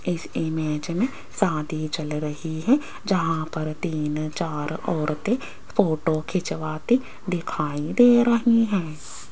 इस इमेज में शादी चल रही है जहां पर तीन चार औरते फोटो खिंचवाते दिखाई दे रही हैं।